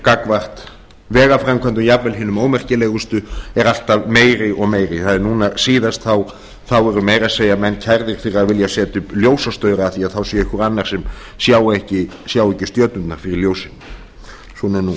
gagnvart vegaframkvæmdum jafnvel hinum ómerkilegustu er alltaf meiri og meiri núna síðast voru menn meira að segja kærðir fyrir að vilja setja upp ljósastaura af því að þá sé einhver annar sem sjái ekki stjörnurnar fyrir ljósinu svona